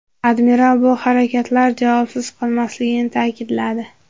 Admiral bu harakatlar javobsiz qolmasligi ta’kidladi.